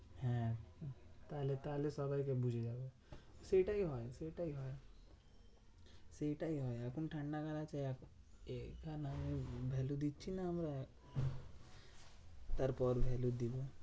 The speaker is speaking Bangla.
হ্যাঁ তাহলে তাহলে সবাইকে বুঝে যাবো সেটাই হয় সেটাই হয়। সেটাই হয় এখন ঠান্ডাকাল আছে value দিচ্ছিনা আমরা, তারপরে value দেব।